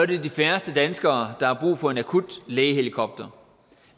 det er de færreste danskere der har brug for en akutlægehelikopter